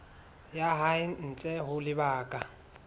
ya hae ntle ho lebaka